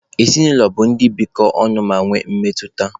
Ezinụlọ bụ ndị bikọ ọnụ ma nwee mmetụta.